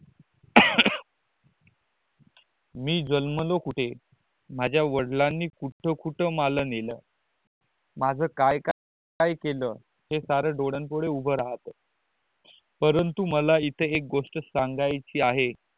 मी जन्मलो कुठे माझे वड़ीलानी कुठ कुठ मला नेल माझ्या काय काय केल हे सार डोडया पूड उभे राहत परंतु मला इकडे एक गोस्ट संगाची आहे